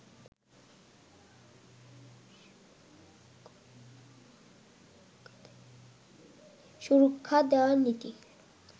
সুরক্ষা দেওয়ার নীতি